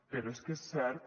però és que és cert